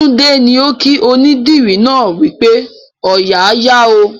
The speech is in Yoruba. Tunde ni o kí onídìrí náà wípé "Ooya a yà ó"